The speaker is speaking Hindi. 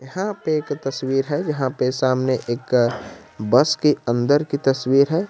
यहां पे एक तस्वीर है यहां पे सामने एक बस की अंदर की तस्वीर है।